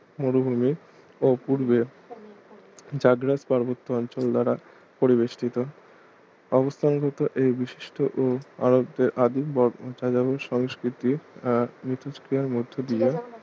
মরুভুমি ও পূর্বে জাগ্রাস পার্বত্য অঞ্চল দ্বারা পরিবেষ্টিত অবস্থান গত এই বিশিষ্ট ও আরবদের আদিম সংস্কৃতি আহ মিথস্ক্রিয়ার মধ্য দিয়ে